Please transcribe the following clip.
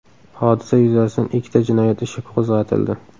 Hodisa yuzasidan ikkita jinoyat ishi qo‘zg‘atildi.